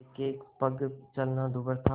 एकएक पग चलना दूभर था